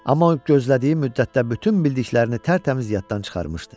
Amma o gözlədiyi müddətdə bütün bildiklərini tərtəmiz yaddan çıxarmışdı.